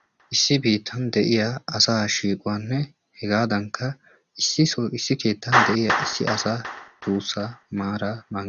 issi biittan de'iya asaa shiiquwanne hegaadankka issisoo issi keeettan de'iya issi asa duussaa maaraa mankkaa